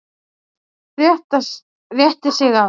Rétti sig af.